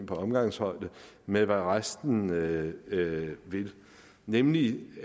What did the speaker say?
på omgangshøjde med hvad resten vil nemlig